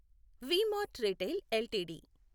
we mart retail LTD